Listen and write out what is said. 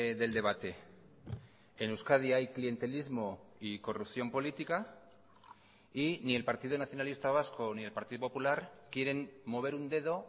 del debate en euskadi hay clientelismo y corrupción política y ni el partido nacionalista vasco ni el partido popular quieren mover un dedo